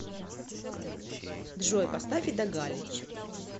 джой поставь ида галич